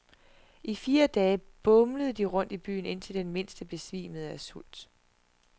I fire dage bumlede de rundt i byen, indtil den mindste besvimede af sult.